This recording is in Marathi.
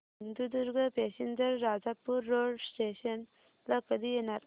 Sindhudurg passenger Rajapur road station ला कधी येणार